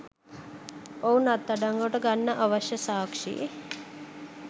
මොවුන් අත්අඩංගුවට ගන්න අවශ්‍ය සාක්ෂි